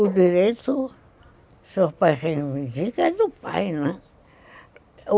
O direito, se o pai reivindica, é do pai, né?